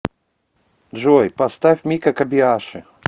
джой поставь мика кобиаши